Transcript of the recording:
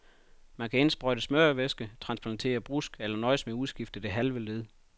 Man kan indsprøjte smørevæske, transplantere brusk eller nøjes med at udskifte det halve led.